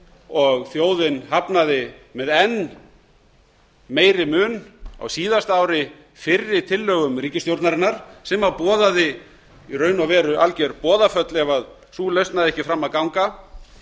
og þjóðin hafnaði með enn meiri mun á síðasta ári fyrri tillögum ríkisstjórnarinnar sem boðaði í raun og veru alger boðaföll ef sú lausn næði ekki fram að ganga